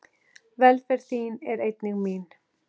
Velferð þín er einnig mín.